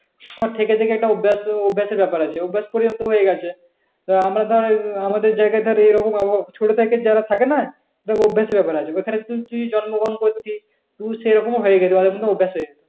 থেকে থেকে একটা অভ্যাস অভ্যাসের ব্যাপার আছে। অভ্যাস করে তো হয়ে গেছে। আহ আমরা ধর আমাদের যায়গায় ধর এই রকম আবহাওয়া, ছোট থেকে যেইটা থাকে না? যেইরকম অভ্যাসের ব্যাপার আছে। এখানে যদি দুই জন্মগ্রহণ করতিস তুই সেইরকম ও হয়ে যেতিস।